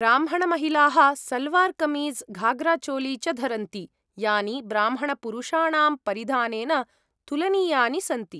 ब्राह्मणमहिलाः सल्वार् कमीज़्, घाग्राचोली च धरन्ति, यानि ब्राह्मणपुरुषाणां परिधानेन तुलनीयानि सन्ति।